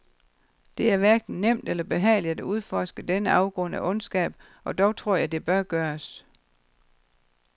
Det er hverken nemt eller behageligt at udforske denne afgrund af ondskab, og dog tror jeg det bør gøres.